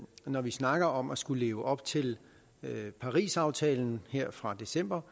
når vi snakker om at skulle leve op til parisaftalen fra december